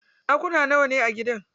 Ɗakuna nawane a gidan?